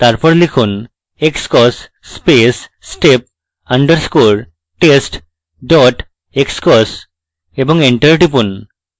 তারপর লিখুন: xcos space step underscore test dot xcos এবং enter টিপুন